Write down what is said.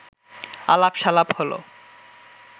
আলাপ-সালাপ হল